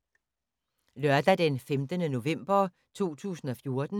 Lørdag d. 15. november 2014